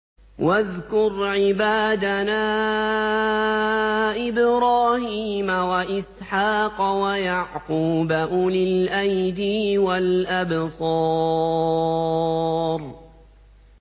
وَاذْكُرْ عِبَادَنَا إِبْرَاهِيمَ وَإِسْحَاقَ وَيَعْقُوبَ أُولِي الْأَيْدِي وَالْأَبْصَارِ